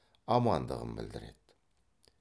амандығын білдіреді